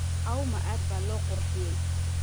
Auma aad baa loo qurxiyey